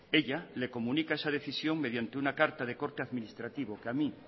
ella le comunica esa decisión mediante una carta de corte administrativo que a mí